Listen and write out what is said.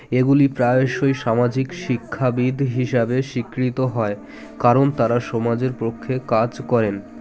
এগুলি প্রায়সই সামাজিক শিক্ষাবিদ হিসাবে স্বীকৃত হয় কারণ তারা সমাজের পক্ষে কাজ করেন